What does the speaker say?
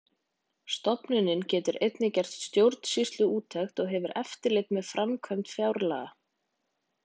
Stofnunin getur einnig gert stjórnsýsluúttektir og hefur eftirlit með framkvæmd fjárlaga.